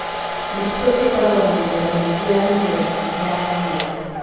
Mĩtitũ ĩkoragwo na mĩthemba mĩingĩ ya mĩmera na nyamũ.